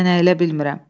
Mən əylə bilmirəm.